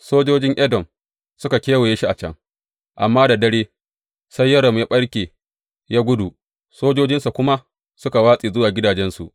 Sojojin Edom suka kewaye shi a can, amma da dare sai Yoram ya ɓarke ya gudu, sojojinsa kuma suka watse zuwa gidajensu.